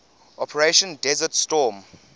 operation desert storm